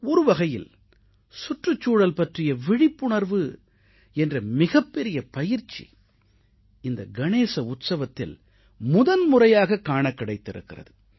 ஒருவகையில் சுற்றுச்சூழல் பற்றிய விழிப்புணர்வு என்ற மிகப்பெரிய பயிற்சி இந்த கணேச உற்சவத்தில் முதன்முறையாகக் காணக் கிடைத்திருக்கிறது